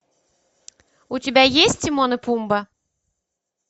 у тебя есть тимон и пумба